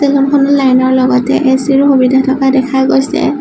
চেলুনখনৰ লাইনৰ লগতে এচিৰো সুবিধা থকা দেখা গৈছে।